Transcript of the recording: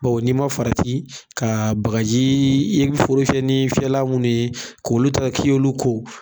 Bawo ni'i ma farati ka bagaji i ye foro fiɲɛ ni fiɲɛla mun ye k' olu taga k'i y'o ko.